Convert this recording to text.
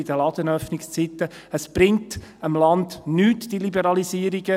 Diese Liberalisierungen bringen dem Land nichts.